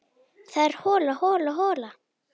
Það er hola, hola, hola.